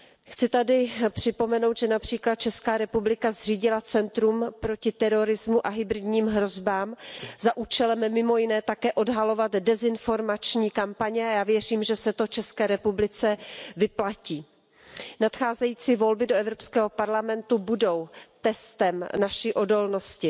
Chci tady připomenout, že například Česká republika zřídila centrum proti terorismu a hybridním hrozbám za účelem mimo jiné také odhalovat dezinformační kampaně a já věřím, že se to České republice vyplatí. Nacházející volby do Evropského parlamentu budou testem naší odolnosti